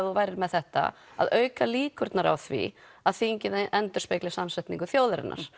þú værir með þetta að auka líkurnar á því að þingið endurspegli samsetningu þjóðarinnar